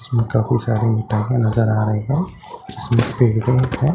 इसमें काफी सारी नजर आ रही हैं इसमें हैं।